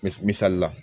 Me misali la